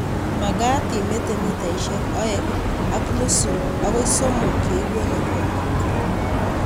Magat imete mitaishek aeng ak nusu agoi somok ye ikole koko